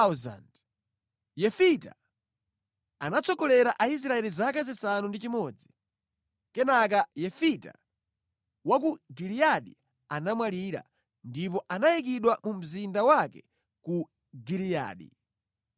Yefita anatsogolera Israeli zaka zisanu ndi chimodzi. Kenaka Yefita wa ku Giliyadi anamwalira, ndipo anayikidwa mu mzinda wake ku Giliyadi.